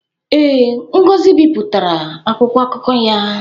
Ee, Ngozi bipụtara akwụkwọ akụkọ ya